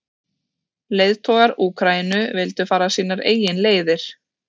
Leiðtogar Úkraínu vildu fara sínar eigin leiðir.